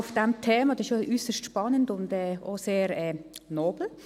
Dies ist äusserst spannend und auch sehr nobel.